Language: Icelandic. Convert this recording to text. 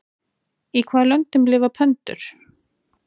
Í hvaða löndum lifa pöndur?